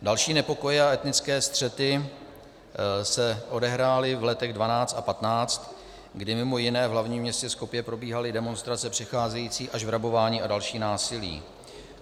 Další nepokoje a etnické střety se odehrály v letech 2012 a 2015, kdy mimo jiné v hlavním městě Skopje probíhaly demonstrace přecházející až v rabování a další násilí.